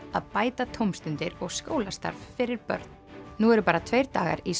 að bæta tómstundir og skólastarf fyrir börn nú eru bara tveir dagar í